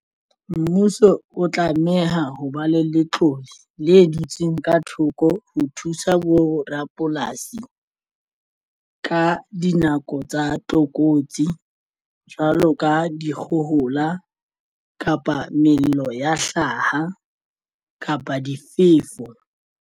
Mmuso o tlameha ho ba le letlole le dutsweng ka thoko ho thusa borapolasi ka dinako tsa tlokotsi jwalo ka dikgohola kapa mello ya hlaha kapa difefo.